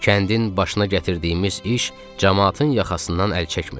Kəndin başına gətirdiyimiz iş camaatın yaxasından əl çəkmirdi.